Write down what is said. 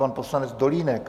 Pan poslanec Dolínek.